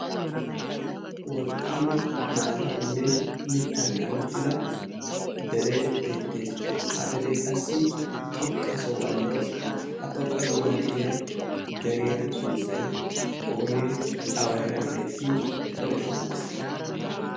wolqqaama maataaninne mittan kamettida dere beettees ha deree qassi xoqqa sohuwan de'ees ha xoqqa sohuwan de'iya deriya sunttai oonee awa heeran beettii ane qonccisa